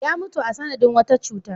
Ya mutu a sanadin wata cuta.